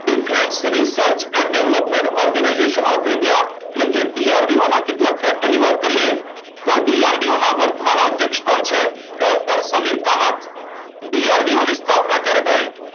Defence research and development organisation of India એટલે કે DRDO ના કેટલા ફેક્ટરની વાત કરીએ તો DRDO ના વર્તમાન અધ્યક્ષ કોણ છે? ડોક્ટર સમીર કામત. DRDO ની સ્થાપના ક્યારે થઈ?